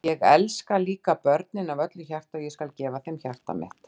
Ég elska líka börnin af öllu hjarta og ég skal gefa þeim hjarta mitt.